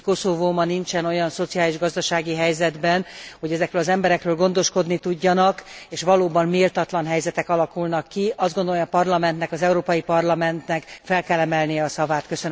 Tudjuk, hogy Koszovó ma nincsen olyan szociális, gazdasági helyzetben, hogy ezekről az emberekről gondoskodni tudjanak, és valóban méltatlan helyzetek alakulnak ki. Azt gondolom, hogy az Európai Parlamentnek fel kell emelnie a szavát.